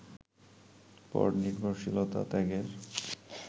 পরনির্ভরশীলতা ত্যাগের